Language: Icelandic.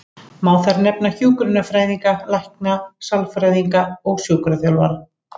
Má þar nefna hjúkrunarfræðinga, lækna, sálfræðinga og sjúkraþjálfara.